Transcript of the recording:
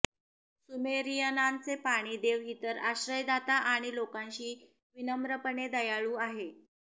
सुमेरियनांचे पाणी देव इतर आश्रयदाता आणि लोकांशी विनम्रपणे दयाळू आहे